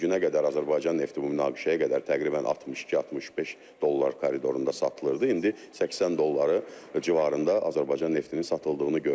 Yəni bu günə qədər Azərbaycan nefti bu münaqişəyə qədər təqribən 62-65 dollar koridorunda satılırdı, indi 80 dollar civarında Azərbaycan neftinin satıldığını görürük.